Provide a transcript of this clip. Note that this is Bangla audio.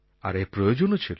আর এর প্রয়োজনও ছিল